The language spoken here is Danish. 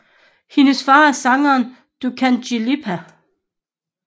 Hendes far er sangeren Dukagjin Lipa